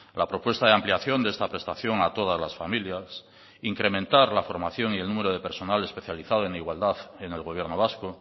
la propuesta de ampliación de esta prestación a todas las familias incrementar la formación y el número de personal especializado en igualdad en el gobierno vasco